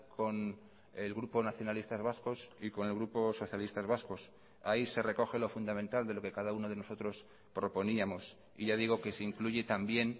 con el grupo nacionalistas vascos y con el grupo socialistas vascos ahí se recoge lo fundamental de lo que cada uno de nosotros proponíamos y ya digo que se incluye también